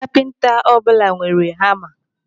Kapinta ọbụla nwere hama.